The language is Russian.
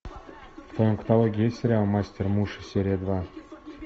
в твоем каталоге есть сериал мастер муши серия два